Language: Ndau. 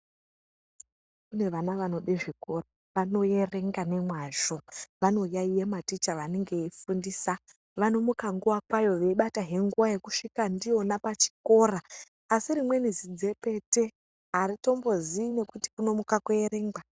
Kune vana vanode zvikora vanoerenga nemwazvo vanoyaiya maticha vanenge veifundisa vanomuka nguwa kwayo veibatahe nguwa yekusvika ndiyo pachikora asi rimweni zidzepete aritombozii kuti kunomuka koerengwa.